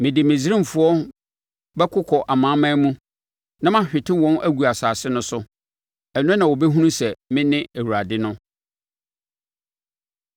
Mede Misraimfoɔ bɛkokɔ amanaman mu na mahwete wɔn agu nsase no so. Ɛno na wɔbɛhunu sɛ mene Awurade no.”